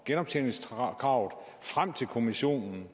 genoptjeningskravet frem til kommissionen